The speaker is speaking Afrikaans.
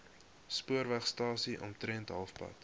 spoorwegstasie omtrent halfpad